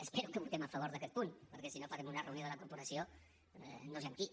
espero que votem a favor d’aquest punt perquè si no farem una reunió de la corporació no sé amb qui